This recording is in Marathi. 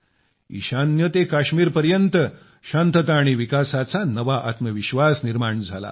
ईशान्य ते काश्मीर पर्यंत शांतता व विकासाचा नवा आत्मविश्वास निर्माण झाला आहे